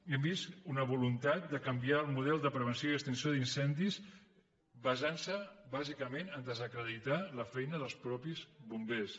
hem vist una voluntat de canviar el model de prevenció i extinció d’incendis basant se bàsicament a desacreditar la feina dels mateixos bombers